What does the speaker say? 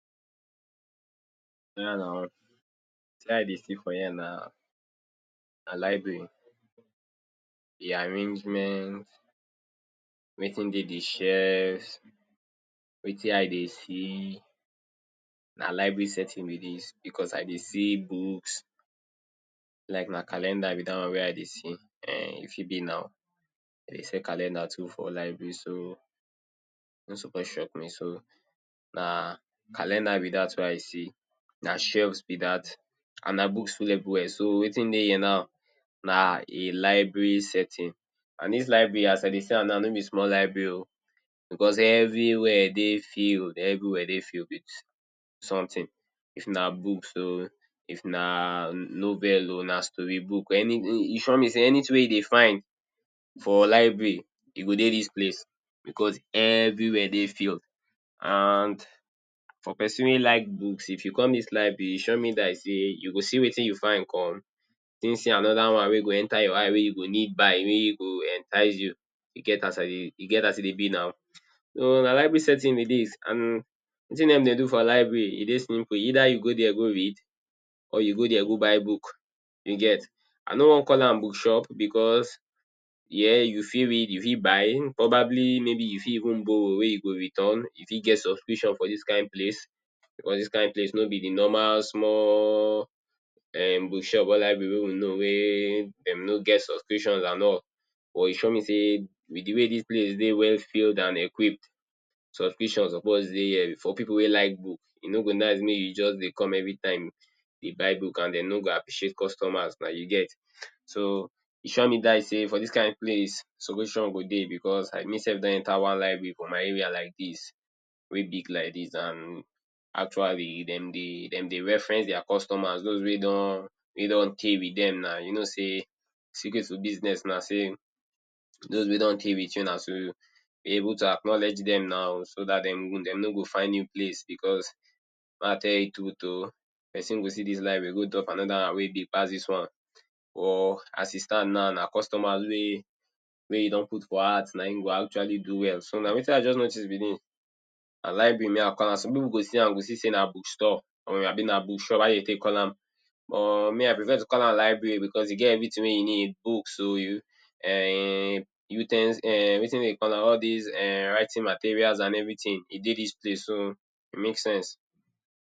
Oya na, wetin i dey see for here na na library. The arrangement, wetin dey the shelf, wetin i dey see, na library settings be dis becos i dey se books, like na calender be dat one wey i dey see. um E fit be na, de dey sell calendar too for library. So, e no suppose shock me. So, na calendar be dat wey i see. Na shelves be dat and na books full everywhere. So, wetin dey here now, na e library setting and dis library, as i dey see am now, no be small library oh becos everywhere dey filled, everywhere dey filled with something. If na book, so, if na novel oh, na story book, any e sure me sey anything wey you dey find for library, e go dey dis place becos everywhere dey filled and for pesin wey like book, if you come dis library, e sure me die sey, you go see wetin you find come, still see anoda one wey go enter your eyes, wey you go need buy. Wey go entice you. E get as i dey, e get as e dey be na. So, na library settings be dis and wetin dem dey de for library, e dey simple. Either youy go dere go read or you go dere go buy book, you get. I no wan call am bookshop becos here you fit read, you fit buy, probably maybe you fit even borrow wey you go return. E fit get subscription for dis kind place becos dis kind place no be the normal small um bookshop or library wey we know wey de no get subscription and all or e sure me sey, with the way wey dis place dey well filled and equipped subscription suppose dey here. For pipu wey like book, e no go nice mey you just dey come every time, dey buy book and de no go appreciate customers na, you get. So, e sure me die sey for dis kind place, solution go dey becos as me self don enter inside one library for my area like dis, wey big like dis and actually dem dey, de dey reference their customers, dos wey don wey don tey with dem na. You know sey, secret to business na sey, dos wey don tey with you, na too be able to ackowledge dem na. So dat de de no go find new place becos may i tell you truth oh. Pesin go see dis library, go anoda one wey big pass dis one. Or as e stand now, na customer wey wey you don put for heart, na im go actually do well. So, na wetin i just notice be dis. Na library me i call am. Some pipu go see am, go see sey na bookstore or abi na bookshop. How de dey take dey call am? But me i prefer to call am library becos e get everything wey you need. Book oh, you um u ten s wetin de dey call am? All dis um writing materials and everything, e dey dis place. So, e make sense.